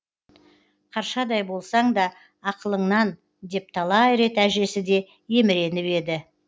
қаршадай болсаң да ақылыңнан деп талай рет әжесі де еміреніп еді